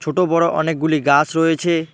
ছোটো বড়ো অনেকগুলি গাছ রয়েছে।